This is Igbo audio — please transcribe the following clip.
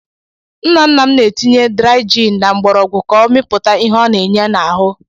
Nna nna m na-etinye drai jin na mgbọrọgwụ ka ọ mịpụta ihe ọ na-enye n'ahụ.